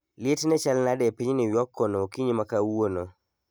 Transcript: Liet ne chal nade epiny new york kono okinyi makawuono